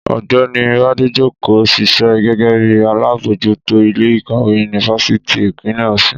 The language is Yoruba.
Ọ̀gbẹ́ni Bádéjókòó ń ṣiṣẹ́ gẹ́gẹ́ bí alábòójútó ilé ìkàwé yunifásítì Ìpínlẹ̀ Ọ̀ṣun